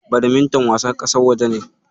Badminton wasan ƙasar waje ne.